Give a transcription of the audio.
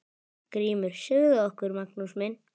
GRÍMUR: Segðu okkur, Magnús minn!